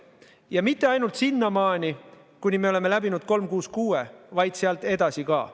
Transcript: Ja mitte ainult sinnamaani, kuni me oleme läbinud 366, vaid sealt edasi ka.